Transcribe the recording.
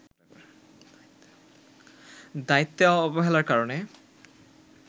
দায়িত্বে অবহেলার কারণে